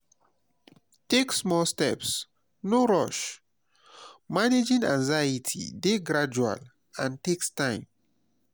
take small steps no rush; managing anxiety dey gradual and takes time.